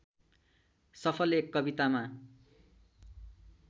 सफल एक कवितामा